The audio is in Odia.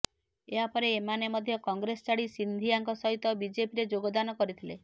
ଏହାପରେ ଏମାନେ ମଧ୍ୟ କଂଗ୍ରେସ ଛାଡି ସିନ୍ଧିଆଙ୍କ ସହିତ ବିଜେପିରେ ଯୋଗଦାନ କରିଥିଲେ